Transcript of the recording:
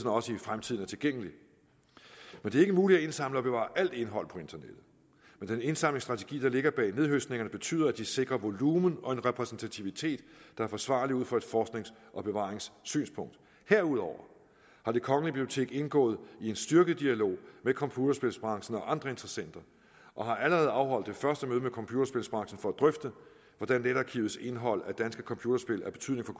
også i fremtiden er tilgængelig det er ikke muligt at indsamle og bevare alt indhold på internettet men den indsamlingsstrategi der ligger bag nethøstningerne betyder at de sikrer en volumen og en repræsentativitet der er forsvarlig ud fra et forsknings og bevaringssynspunkt herudover er det kongelige bibliotek indgået i en styrket dialog med computerspilsbranchen og andre interessenter og har allerede afholdt det første møde med computerspilsbranchen for at drøfte hvordan netarkivets indhold af danske computerspil af betydning for